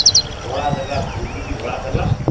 ଧଳା ଦେଲା ଧୁତିଵି ଧଳା ଦେଲା